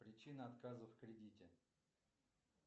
причина отказа в кредите